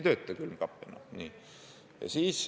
Külmkapp ei tööta enam.